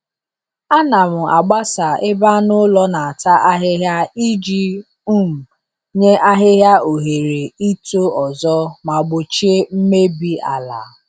Ana m agbasa ebe anụ ụlọ na-ata ahịhịa iji um nye ahịhịa ohere ito ọzọ ma gbochie mmebi ala.